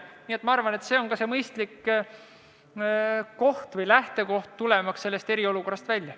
Nii et ma arvan, et see on mõistlik koht, tulemaks sellest eriolukorrast välja.